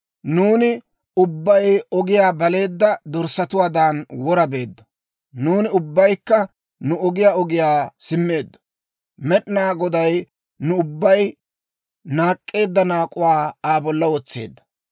Nuuni ubbay ogiyaa baleedda dorssatuwaadan wora beeddo; nuuni ubbaykka nu ogiyaw ogiyaw simmeedda. Med'inaa Goday nu ubbay naak'k'eedda naak'uwaa Aa bolla wotseedda.